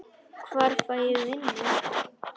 Hvar fæ ég vinnu?